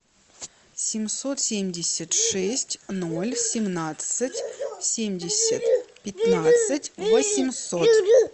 семьсот семьдесят шесть ноль семнадцать семьдесят пятнадцать восемьсот